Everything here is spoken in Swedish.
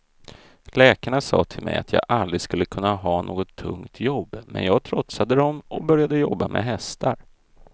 Läkarna sa till mig att jag aldrig skulle kunna ha något tungt jobb, men jag trotsade dem och började jobba med hästar.